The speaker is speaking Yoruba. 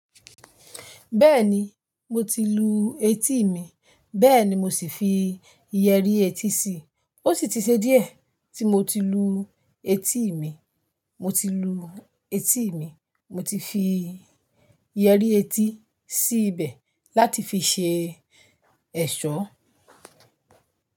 Bẹ́ẹ̀ni, mo ti lu etí mi, bẹ́ẹ̀ ni mo sì fi iyẹrí etí sí i. Ó sì ti ṣe díẹ̀ tí mo ti lu etí mi. Mo ti lu etí mi, mo ti fi iyẹrí etí sí ibẹ̀ láti fi ṣe ẹ̀ṣọ́.